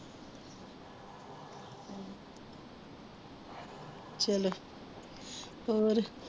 ਚਲੋ ਹੋਰ